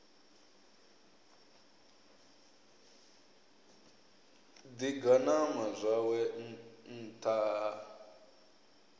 ḓi ganama zwawe nṱtha ha